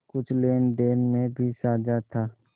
कुछ लेनदेन में भी साझा था